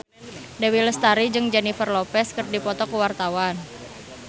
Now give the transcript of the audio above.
Dewi Lestari jeung Jennifer Lopez keur dipoto ku wartawan